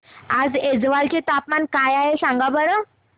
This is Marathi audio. आज ऐझवाल चे तापमान काय आहे सांगा बरं